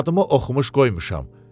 Adımı oxumuş qoymuşam.